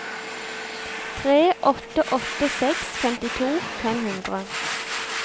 tre åtte åtte seks femtito fem hundre